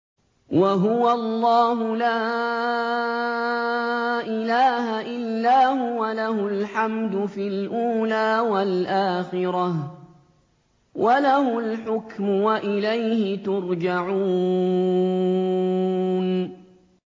وَهُوَ اللَّهُ لَا إِلَٰهَ إِلَّا هُوَ ۖ لَهُ الْحَمْدُ فِي الْأُولَىٰ وَالْآخِرَةِ ۖ وَلَهُ الْحُكْمُ وَإِلَيْهِ تُرْجَعُونَ